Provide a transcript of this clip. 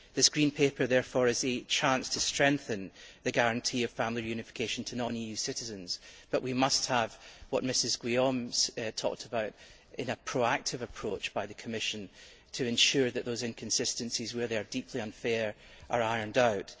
This Green Paper, therefore, is a chance to strengthen the guarantee of family reunification to non EU citizens, but we must have what Mrs Guillaume talked about in terms of a proactive approach by the Commission to ensure that those inconsistencies, where they are deeply unfair, are ironed out.